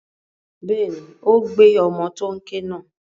Bẹ́ẹ̀ni, ó gbé ọmọ tó n ké náà.